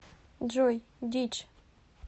джой дичь